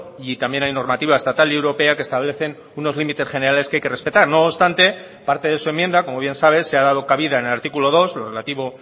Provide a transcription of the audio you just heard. y también hay normativa estatal y europea que establecen unos límites generales que hay que respetar no obstante parte de su enmienda como bien sabe se ha dado cabida en el artículo dos lo relativo